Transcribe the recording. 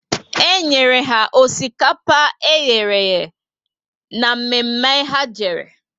E nyere ha osikapa eherehe ná mme mme ha jere